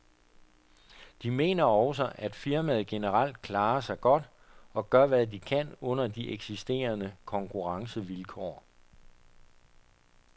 De mener også, at firmaet generelt klarer sig godt og gør hvad de kan under de eksisterende konkurrencevilkår.